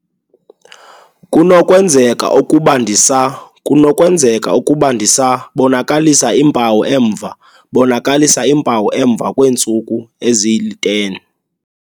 kunokwenzeka ukuba ndisa kunokwenzeka ukuba ndisa bonakalisa iimpawu emva bonakalisa iimpawu emva kweentsuku ezili-10?